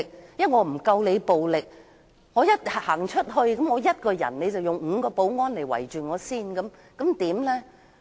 我不夠你暴力，我一個人走出來，你便會吩咐5個保安人員包圍我，我該怎麼辦？